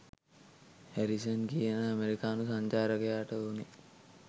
Harrison කියන ඇමරිකානු සංචාරකයාට ඔනෙ